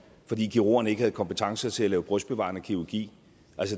fordi kirurgerne ikke havde kompetence til at lave brystbevarende kirurgi